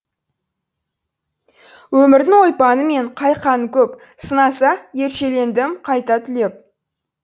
өмірдің ойпаңы мен қайқаңы көп сынаса ершелендім қайта түлеп